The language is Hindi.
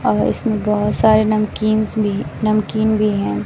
और इसमें बहोत सारे नमकींस भी नमकीन भी हैं।